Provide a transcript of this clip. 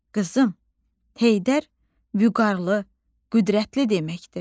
Qızım, Heydər vüqarlı, qüdrətli deməkdir.